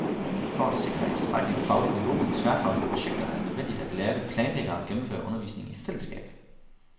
For at sikre et tilstrækkeligt fagligt niveau ved tværfaglige projekter, er det nødvendigt, at lærerne planlægger og gennemfører undervisningen i fællesskab.